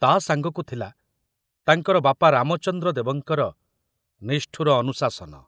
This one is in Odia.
ତା ସାଙ୍ଗକୁ ଥିଲା ତାଙ୍କର ବାପା ରାମଚନ୍ଦ୍ର ଦେବଙ୍କର ନିଷ୍ଠୁର ଅନୁଶାସନ।